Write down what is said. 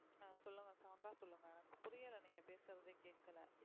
ஆஹ் சொல்லுங்க sound ஆ சொல்லுங்க புரியல நீங்க பேசுறதே கேக்கல